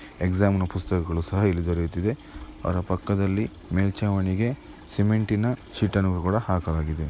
Exam ನ ಪುಸ್ತಕಗಳು ಸಹ ಇಲ್ಲಿ ದೊರೆಯುತ್ತದೆ ಅದರ ಪಕ್ಕದಲ್ಲಿ ಮೇಲ್ಚಾವಣಿಗೆ ಸಿಮೆಂಟಿನ ಶೀಟನ್ನು ಕೂಡ ಹಾಕಲಾಗಿದೆ.